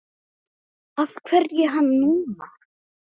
Af hverju hann núna?